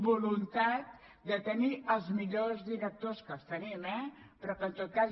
voluntat de tenir els millors directors que els tenim eh però en tot cas